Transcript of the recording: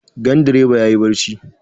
Gandireba ya yi barci.